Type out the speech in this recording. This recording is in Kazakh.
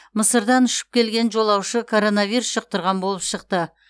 мысырдан ұшып келген жолаушы коронавирус жұқтырған болып шықты